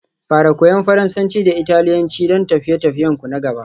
Fara Koyan Faransanci da Italiyanci don tafiye-tafiyenku na gaba